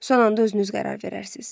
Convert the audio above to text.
Son anda özünüz qərar verərsiz.